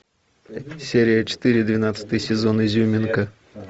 серия четыре двенадцатый сезон изюминка